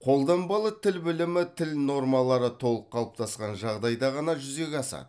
қолданбалы тіл білімі тіл нормалары толық қалыптасқан жағдайда ғана жүзеге асады